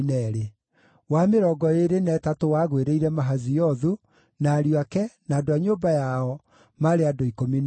wa mĩrongo ĩĩrĩ na ĩtatũ wagũĩrĩire Mahaziothu, na ariũ ake, na andũ a nyũmba yao, maarĩ andũ 12;